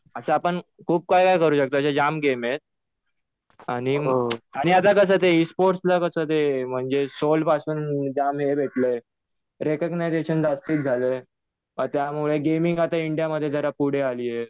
असं आपण खूप काही काही करू शकतो अशे जाम गेम आहेत. आणि आता कसं ते इसफोर्सला कसं ते सोल पासून जाम हे भेटलंय रेकग्नायजेशन जास्ती चालू आहे. त्यामुळे गेमिंग जरा इंडियामध्ये पुढे आलीये.